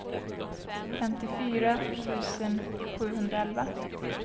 femtiofyra tusen sjuhundraelva